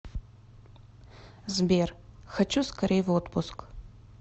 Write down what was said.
сбер хочу скорей в отпуск